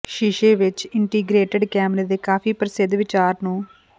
ਸ਼ੀਸ਼ੇ ਵਿੱਚ ਇੰਟੀਗਰੇਟਡ ਕੈਮਰੇ ਦੇ ਕਾਫ਼ੀ ਪ੍ਰਸਿੱਧ ਵਿਚਾਰ ਨੂੰ